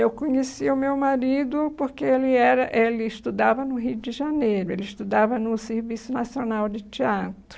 Eu conheci o meu marido porque ele era ele estudava no Rio de Janeiro, ele estudava no Serviço Nacional de Teatro.